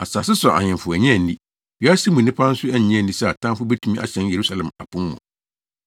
Asase so ahemfo annye anni, wiase mu nnipa nso annye anni sɛ atamfo betumi ahyɛn Yerusalem apon mu.